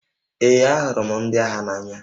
Ee, ahụrụ m ndị agha n'anya